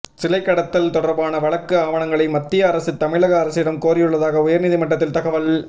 சிலைக்கடத்தல் தொடர்பான வழக்கு ஆவணங்களை மத்திய அரசு தமிழக அரசிடம் கோரியுள்ளதாக உயர்நீதிமன்றத்தில் தகவல்